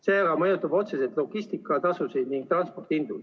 See mõjutab otseselt logistikatasusid ning transpordihindu.